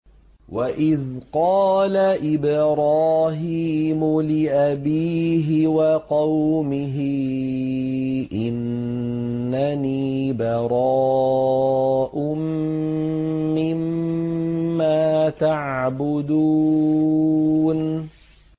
وَإِذْ قَالَ إِبْرَاهِيمُ لِأَبِيهِ وَقَوْمِهِ إِنَّنِي بَرَاءٌ مِّمَّا تَعْبُدُونَ